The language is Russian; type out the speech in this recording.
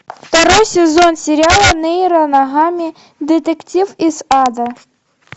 второй сезон сериала нейро ногами детектив из ада